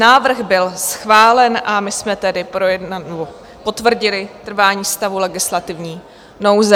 Návrh byl schválen, a my jsme tedy potvrdili trvání stavu legislativní nouze.